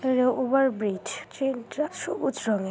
Over bridge train টা সবুজ রঙের।